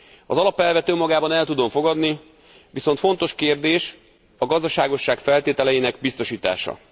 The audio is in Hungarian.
Az alapelvet önmagában el tudom fogadni, viszont fontos kérdés a gazdaságosság feltételeinek biztosítása.